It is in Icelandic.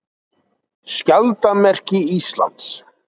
Skjaldarmerki Íslands.